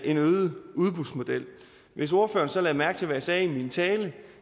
en øget udbudsmodel hvis ordføreren så lagde mærke til hvad jeg sagde i min tale